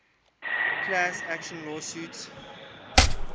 class action lawsuit